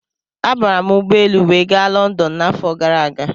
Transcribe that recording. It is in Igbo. Abara m ụgbọelu wee ga Lọndọn n'afọ gara aga.